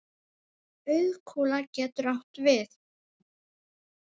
Auðkúla getur átt við